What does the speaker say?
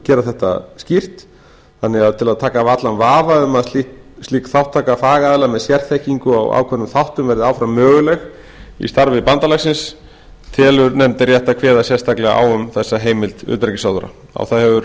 gera þetta skýrt þannig að til að taka af allan vafa um að slík þátttaka fagaðila með sérþekkingu á ákveðnum þáttum verði áfram möguleg í starfi bandalagsins telur nefndin rétt að kveða sérstaklega á um þessa heimild utanríkisráðherra á það hefur